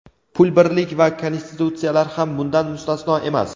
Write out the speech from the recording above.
Pul birlik va konstitutsiyalar ham bundan mustasno emas.